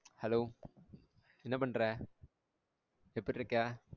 Hello என்ன பண்ற எப்டி இருக்க?